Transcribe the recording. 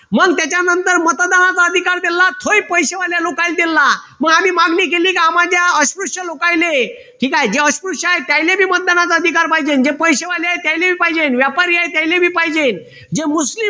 मग त्याच्यानंतर मतदानाचा अधिकार दिलेला तोही पैश्यावाले लोकांना दिलेला मग आम्ही मागणी केली की आम्हाला द्या अस्पृश्य लोकायले ठीक आहे जे अस्पृश्य आहे त्यानले बी मतदानाचा अधिकार पाहिजे जे पैशेवाले आहे त्यांना पण पाहिजे व्यापारी आहे त्यांना पण पाहिजे जे मुस्लिम